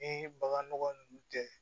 Ni bagan nɔgɔ ninnu tɛ